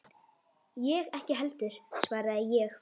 Ég ekki heldur, svaraði ég.